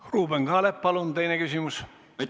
Ruuben Kaalep, palun teine küsimus!